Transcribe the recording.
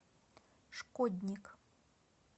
шкодник